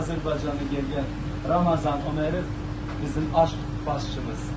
Azərbaycanlı Ramazan Ömərov bizim aşpazımız.